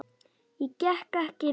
Ég get ekki lifað.